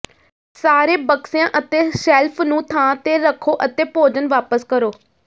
ਸਾਰੇ ਬਕਸਿਆਂ ਅਤੇ ਸ਼ੈਲਫ ਨੂੰ ਥਾਂ ਤੇ ਰੱਖੋ ਅਤੇ ਭੋਜਨ ਵਾਪਸ ਕਰੋ